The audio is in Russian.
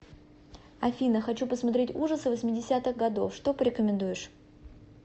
афина хочу посмотреть ужасы восьмедесятых годов что порекомендуешь